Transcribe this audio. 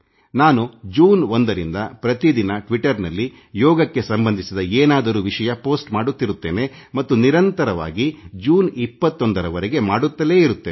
ನಾನು ಜೂನ್ 1 ರಿಂದ ಪ್ರತಿದಿನ ಟ್ವಿಟರ್ನಲ್ಲಿ ಯೋಗಕ್ಕೆ ಸಂಬಂಧಿಸಿದ ಏನಾದರೂ ವಿಷಯ ಪೋಸ್ಟ್ ಮಾಡುತ್ತಿರುತ್ತೇನೆ ಮತ್ತು ನಿರಂತರವಾಗಿ ಜೂನ್ 21 ರವರೆಗೆ ಮಾಡುತ್ತಲೇ ಇರುತ್ತೇನೆ